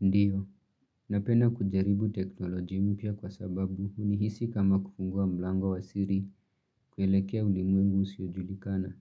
Ndiyo, napenda kujaribu teknoloji mpya kwa sababu huni hisi kama kufungua mlango wa siri kuelekea ulimwengu usiojulikana.